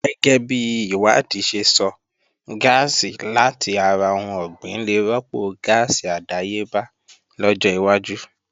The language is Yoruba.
Gẹ́gẹ́bi ìwádìí ṣe sọ, gáàsì làti ara ohun ọ̀gbìn lè rọ́pò gáàsì àdáyébá lọ́jọ́ iwájú